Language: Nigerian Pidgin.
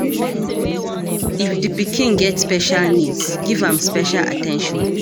if di pikin get special needs, give am special at ten tion